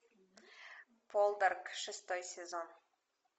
полдарк шестой сезон